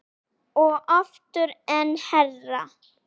Og aftur, enn hærra